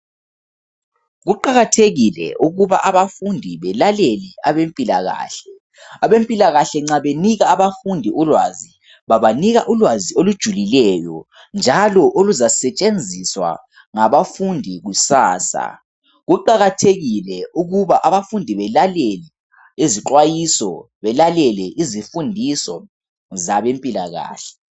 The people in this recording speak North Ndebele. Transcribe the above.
Kuqakathekile ukuba abafundi belalele abempilakahle. Abempilakahle nxa benika abafundi ulwazi, babanika ulwazi olujulileyo njalo oluzasetshenziswa ngabafundi kusasa. Kuqakathekile ukuba abafundi belalele lezixwayiso, belalele izifundiso zabempilakahle.